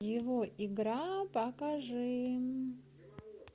его игра покажи